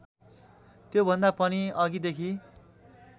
त्योभन्दा पनि अघिदेखि